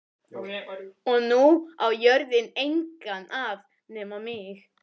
Og nú á jörðin engan að nema mig.